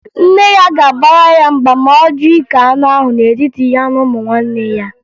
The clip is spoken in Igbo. Nne ya ga-abara ya mba ma ọ jụ ike anụ ahụ n'etiti ya na ụmụnne ya